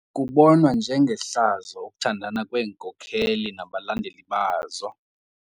Kubonwa njengehlazo ukuthandana kweenkokeli nabalandeli bazo.